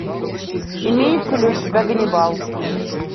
имеется ли у тебя ганнибал